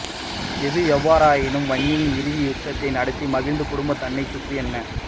எது எவ்வாறாயினும் வன்னியில் இறுதி யுத்ததை நடத்திய மகிந்த குடும்பம் தன்னைச் சுற்றி என்ன